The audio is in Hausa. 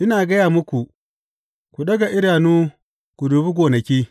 Ina gaya muku, ku ɗaga idanu ku dubi gonaki!